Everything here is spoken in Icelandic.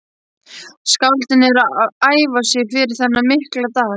Skáldin eru að æfa sig fyrir þennan mikla dag.